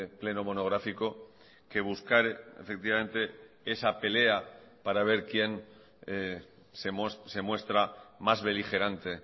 pleno monográfico que buscar efectivamente esa pelea para ver quién se muestra más beligerante